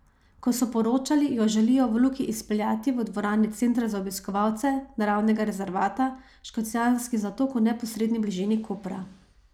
Kot so poročali, jo želijo v Luki izpeljati v dvorani centra za obiskovalce Naravnega rezervata Škocjanski zatok v neposredni bližini Kopra.